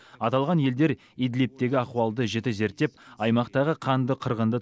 аталған елдер идлибтегі ахуалды жіті зерттеп аймақтағы қанды қырғынды